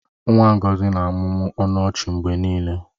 Nwa Ngọzi na-amụmụ ọnụ ọchị mgbe niile